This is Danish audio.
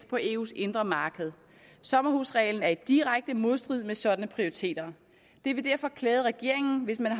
på eus indre marked sommerhusreglen er i direkte modstrid med sådanne prioriteter det ville derfor klæde regeringen hvis man